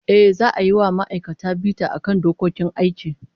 Ehh, za'a yi wa ma'aikata bita akan dokokin aiki